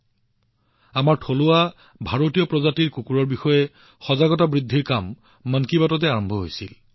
ভাৰতীয় প্ৰজাতিৰ কুকুৰ আমাৰ থলুৱা কুকুৰবোৰৰ বিষয়ে সজাগতা বৃদ্ধি কৰাৰ আৰম্ভণিও কেৱল মন কী বাতৰেই আৰম্ভ কৰা হৈছিল